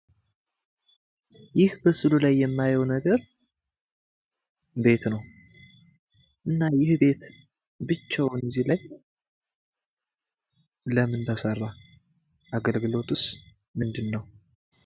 ይህ ምስሉ ላይ የምናየው ነገር ቤት ነው። ይሄ ቤት ብቻውን እዚ ጋር ለምን ተሰራ? አገልግሎቱስ ምንድነው?